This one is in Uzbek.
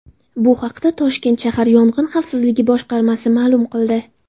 Bu haqda Toshkent shahar Yong‘in xavfsizligi boshqarmasi ma’lum qildi .